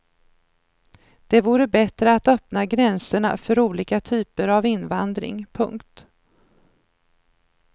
Det vore bättre att öppna gränserna för olika typer av invandring. punkt